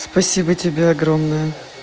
спасибо тебе огромное